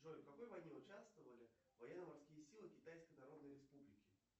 джой в какой войне участвовали военно морские силы китайской народной республики